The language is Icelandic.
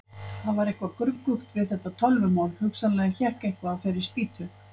Það var eitthvað gruggugt við þetta tölvumál, hugsanlega hékk eitthvað á þeirri spýtu.